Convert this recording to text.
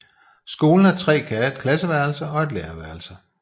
Skolen har tre klasseværelser og et lærerværelse